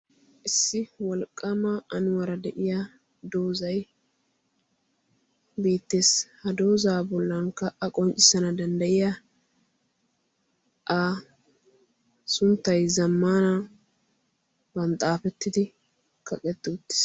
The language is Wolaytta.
issi walqqama anuwaara de7iya doozai beettees ha doozaa bollankka a qonccissana dandda7iya a sunttai zammana ban xaafettidi kaqetti uttiis